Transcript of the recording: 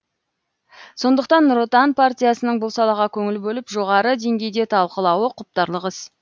сондықтан нұр отан партиясының бұл салаға көңіл бөліп жоғары деңгейде талқылауы құптарлық іс